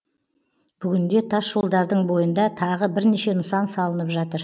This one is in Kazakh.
бүгінде тасжолдардың бойында тағы бірнеше нысан салынып жатыр